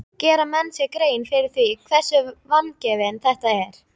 Gera menn sér grein fyrir því hversu vangefið þetta er?